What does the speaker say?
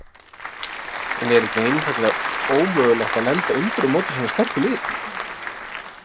En er ekki einfaldlega ómögulegt að lenda undir á móti svona sterku liði?